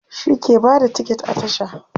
shi ke Bada tiket a tasha